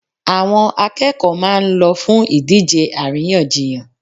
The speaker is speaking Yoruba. Àwọn akẹ́kọ̀ọ́ máa ń lọ fún ìdíje àríyànjiyàn.